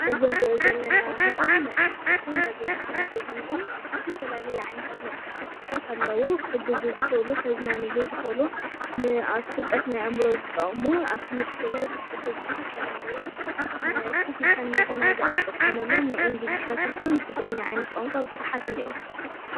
እዚ ንሪኦ ዘለና ምስሊ መፅሕፍትን ጋዜጣን እዩ ዝኒአ፡፡ ዝተፈላለዩ ዓይነታት መፃሕፍትታት ኣለዉ፡፡ ክሕግዙ ዝኽእሉ፣ ከዝናንዩ ዝኽእሉ፣ ንፍልጠት ናይ ኣእምሮ ዝጠቕሙ፣ ኣብ ትምህርቲ ለ ዝሕግዙ ዝተፈላለዩ ኮፍ ኢልካ ንመዘናግዒ ንጥቀመሎም ናይ ኢንግሊዘኛ ይኹን ብትግርኛ ዓይነት ቋንቋ ብዙሓት እኔእዉ፡፡